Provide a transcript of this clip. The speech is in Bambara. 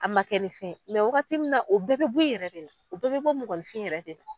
A ma kɛ ni fɛn ye wagati min na o bɛɛ bɛ bɔ i yɛrɛ de la o bɛɛ bɛ bɔ mɔgɔninfin yɛrɛ de la.